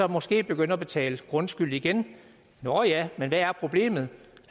måske begynde at betale grundskyld igen nå ja men hvad er problemet